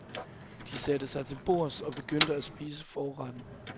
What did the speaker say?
De satte sig til bords og begyndte at spise forretten.